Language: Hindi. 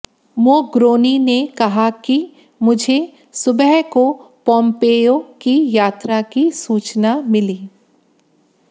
मोग्रोनी ने कहा कि मुझे सुबह को पोम्पेयो की यात्रा की सूचना मिली